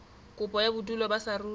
kopo ya bodulo ba saruri